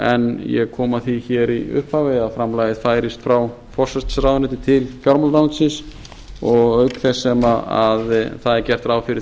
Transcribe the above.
en ég kom að ári í upphafi að framlagið færist frá forsætisráðuneyti til fjármálaráðuneytisins auk þess sem það er gert ráð fyrir